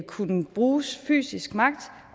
kunne bruges fysisk magt